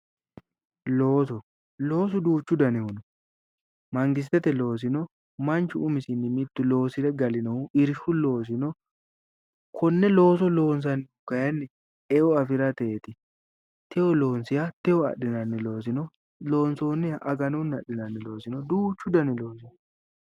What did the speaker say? Looso, loosu duuchu dannihu no, mangistete loosino no, manchu umisi loosire galinohu no, irshu loosi no, konne looso loonsanni woyte kayinni eo afirateti, techo loonsoniha techo afi'nannihu no, techo loonsonniha aganu giddo adhinanni loosi no, duuchu danni loosi no